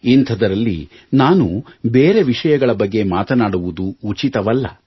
ಇಂಥದರಲ್ಲಿ ನಾನು ಬೇರೆ ವಿಷಯಗಳ ಬಗ್ಗೆ ಮಾತನಾಡುವುದು ಉಚಿತವಲ್ಲ